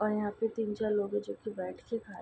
और यहां पे तीन चार लोग हैं जो की बैठ के खा रहे --